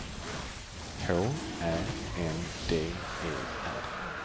H Ä N D E R